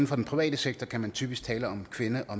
for den private sektor kan man typisk tale om kvinde og